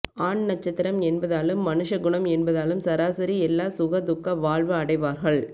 ஆண் நட்சத்திரம் என்பதாலும் மனுஷ குணம் என்பதாலும் சராசரி எல்லா சுக துக்க வாழ்வு அடைவார்கள்